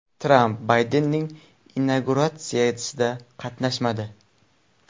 Tramp Baydenning inauguratsiyasida qatnashmadi .